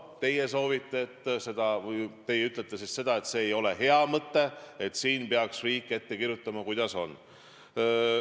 Teie ütlete, et see ei ole hea mõte ja et riik peaks ette kirjutama, kuidas on.